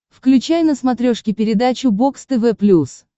включай на смотрешке передачу бокс тв плюс